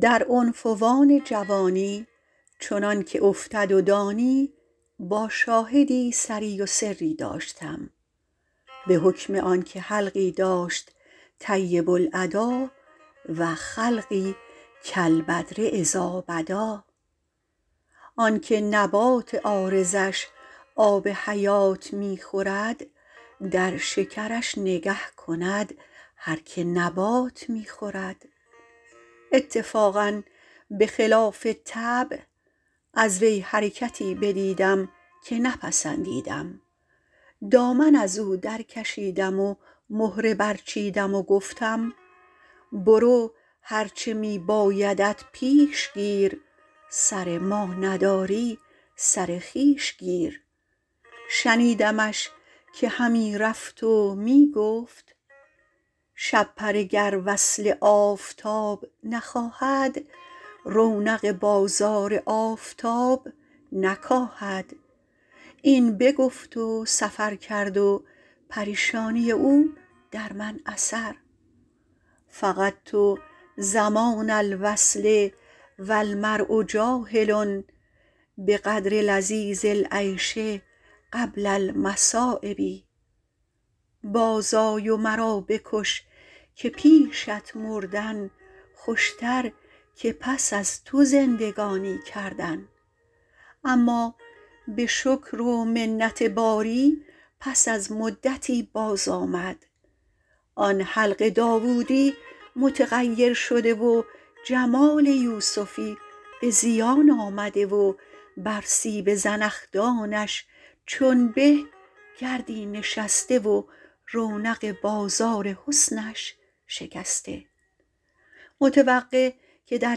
در عنفوان جوانی چنان که افتد و دانی با شاهدی سری و سری داشتم به حکم آن که حلقی داشت طیب الادا و خلقی کالبدر إذٰا بدٰا آن که نبات عارضش آب حیات می خورد در شکرش نگه کند هر که نبات می خورد اتفاقا به خلاف طبع از وی حرکتی بدیدم که نپسندیدم دامن از او در کشیدم و مهره برچیدم و گفتم برو هر چه می بایدت پیش گیر سر ما نداری سر خویش گیر شنیدمش که همی رفت و می گفت شپره گر وصل آفتاب نخواهد رونق بازار آفتاب نکاهد این بگفت و سفر کرد و پریشانی او در من اثر فقدت زمان الوصل و المرء جاهل بقدر لذیذ العیش قبل المصٰایب باز آی و مرا بکش که پیشت مردن خوشتر که پس از تو زندگانی کردن اما به شکر و منت باری پس از مدتی باز آمد آن حلق داوودی متغیر شده و جمال یوسفی به زیان آمده و بر سیب زنخدانش چون به گردی نشسته و رونق بازار حسنش شکسته متوقع که در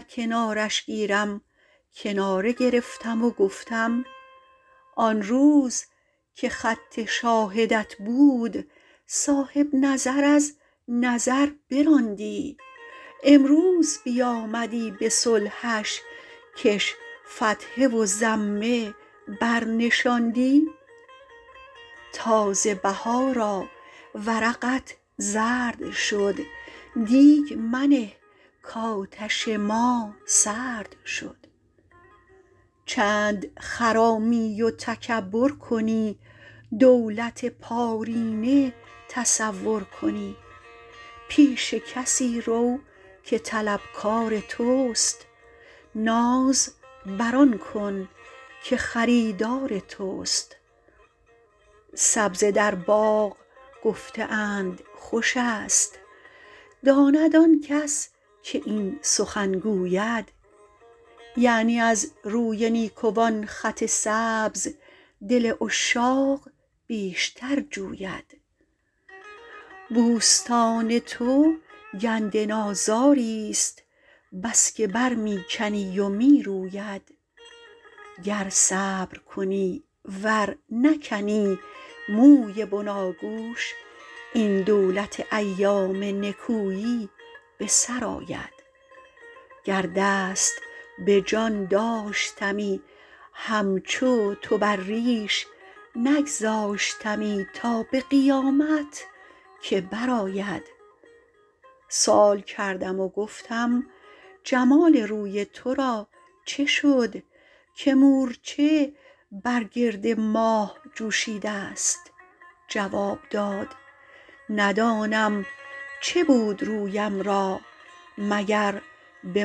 کنارش گیرم کناره گرفتم و گفتم آن روز که خط شاهدت بود صاحب نظر از نظر براندی امروز بیامدی به صلحش کش فتحه و ضمه بر نشاندی تازه بهارا ورقت زرد شد دیگ منه کآتش ما سرد شد چند خرامی و تکبر کنی دولت پارینه تصور کنی پیش کسی رو که طلبکار توست ناز بر آن کن که خریدار توست سبزه در باغ گفته اند خوش است داند آن کس که این سخن گوید یعنی از روی نیکوان خط سبز دل عشاق بیشتر جوید بوستان تو گندنازاری ست بس که بر می کنی و می روید گر صبر کنی ور نکنی موی بناگوش این دولت ایام نکویی به سر آید گر دست به جان داشتمی همچو تو بر ریش نگذاشتمی تا به قیامت که بر آید سؤال کردم و گفتم جمال روی تو را چه شد که مورچه بر گرد ماه جوشیده ست جواب داد ندانم چه بود رویم را مگر به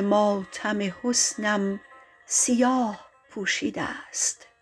ماتم حسنم سیاه پوشیده ست